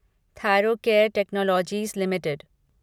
Thyrocare technologies limited